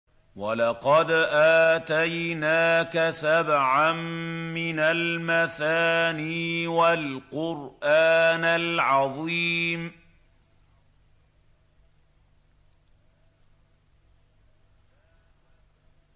وَلَقَدْ آتَيْنَاكَ سَبْعًا مِّنَ الْمَثَانِي وَالْقُرْآنَ الْعَظِيمَ